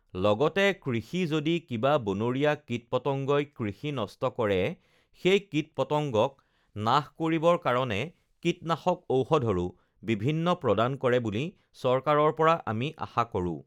লগতে কৃষি যদি কিবা বনৰীয়া কীট-পতংগই কৃষি নষ্ট কৰে সেই কীট-পতংগক নাশক কৰিবৰ কাৰণে কীটনাশক ঔষধৰো বিভিন্ন প্ৰদান কৰে বুলি চৰকাৰৰ পৰা আমি আশা কৰোঁ